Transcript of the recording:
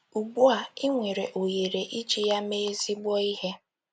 Ugbu a, i nwere ohere iji ya mee ezigbo ihe.